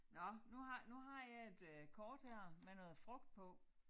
Nåh nu har nu har jeg et øh kort her med noget frugt på